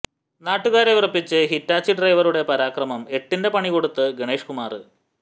നാട്ടുകാരെ വിറപ്പിച്ച് ഹിറ്റാച്ചി ഡ്രൈവറുടെ പരാക്രമം എട്ടിന്റെ പണികൊടുത്ത് ഗണേഷ് കുമാര്